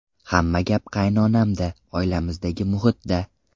Hamma gap qaynonamda, oilamizdagi muhitda.